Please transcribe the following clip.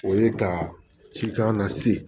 O ye ka cikan na se